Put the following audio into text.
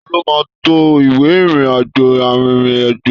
Taló máa n to ìwé ìrìn àjò arinrin-ajo?